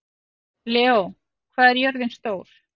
Leó, hvað er jörðin stór?